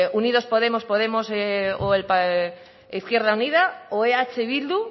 unidos podemos podemos o izquierda unida o eh bildu